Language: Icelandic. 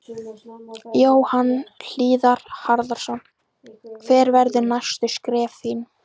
Jóhann Hlíðar Harðarson: Hver verða næstu skref þín?